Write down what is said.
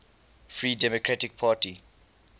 free democratic party